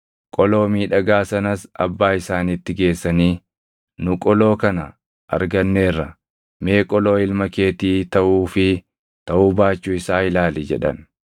Qoloo miidhagaa sanas abbaa isaaniitti geessanii, “Nu qoloo kana arganneerra; mee qoloo ilma keetii taʼuu fi taʼuu baachuu isaa ilaali” jedhan.